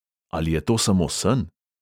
Ali je to samo sen?